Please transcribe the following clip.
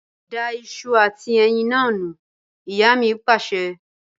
Da ìṣù àti ẹyin naa nù! Ìyá mi Pàṣẹ.